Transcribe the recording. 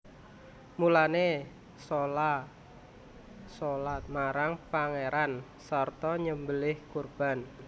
Mulane sholaa marang Pangeranira sarta nyembeliha kurban